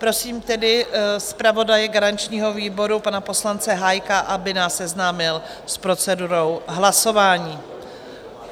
Prosím tedy zpravodaje garančního výboru, pana poslance Hájka, aby nás seznámil s procedurou hlasování.